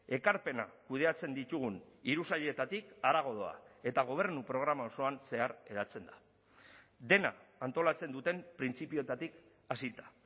ekarpena kudeatzen ditugun hiru sailetatik harago doa eta gobernu programa osoan zehar eratzen da dena antolatzen duten printzipioetatik hasita